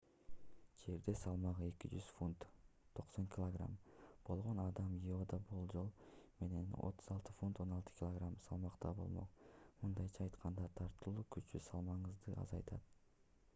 жерде салмагы 200 фунт 90 кг болгон адам иодо болжол менен 36 фунт 16 кг салмакта болмок. мындайча айтканда тартылуу күчү салмагыңызды азайтат